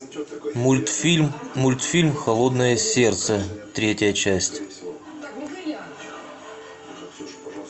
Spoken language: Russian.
мультфильм мультфильм холодное сердце третья часть